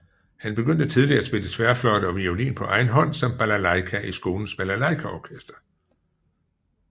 Han begyndte tidlig at spille tværfløjte og violin på egen hånd samt balalajka i skolens balalajkaorkester